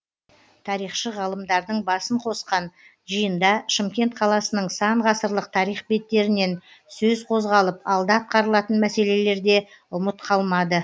тарихшы ғалымдардың басын қосқан жиында шымкент қаласының сан ғасырлық тарих беттерінен сөз қозғалып алда атқарылатын мәселелер де ұмыт қалмады